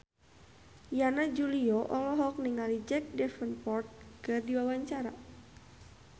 Yana Julio olohok ningali Jack Davenport keur diwawancara